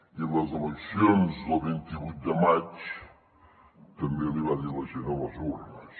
i a les eleccions del vint vuit de maig també l’hi va dir la gent a les urnes